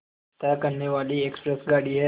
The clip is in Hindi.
तय करने वाली एक्सप्रेस गाड़ी है